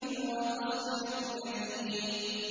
وَتَصْلِيَةُ جَحِيمٍ